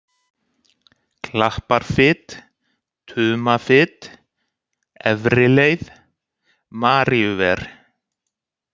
Klapparfit, Tumafit, Efri-Leið, Maríuver